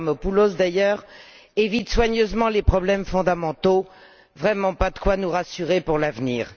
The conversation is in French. Avramopoulos, d'ailleurs, évitent soigneusement les problèmes fondamentaux, vraiment pas de quoi nous rassurer pour l'avenir.